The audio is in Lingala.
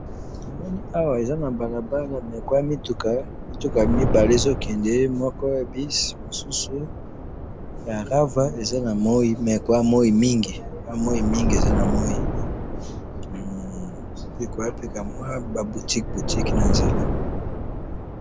namoni awa eza na balabala mais koza mituka mituka mibali moko ya bus mosusu ya rava koza kwa moyi ezo kende na balabala pe koza ba mwa boutique boutique na nzela